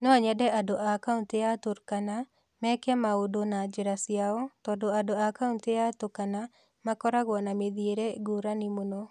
No nyende andũ a kaunti ya Turkana meke maũndũ na njĩra ciao tondũ andũ a kaunti ya Tukana makoragwo na mĩthiĩre ngũrani mũno.